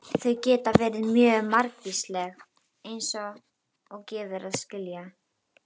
Þau geta verið mjög margvísleg eins og gefur að skilja.